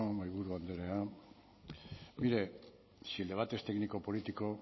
mahaiburu andrea mire si el debate es técnico político